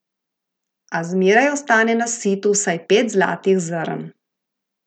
A zmeraj ostane na situ vsaj pet zlatih zrn.